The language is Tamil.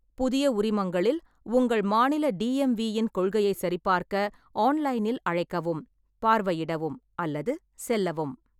புதிய உரிமங்களில் உங்கள் மாநில டிஎம்வி இன் கொள்கையைச் சரிபார்க்க ஆன்லைனில் அழைக்கவும், பார்வையிடவும் அல்லது செல்லவும்.